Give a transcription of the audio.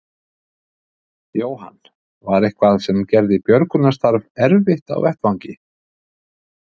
Jóhann: Var eitthvað sem gerði björgunarstarf erfitt á vettvangi?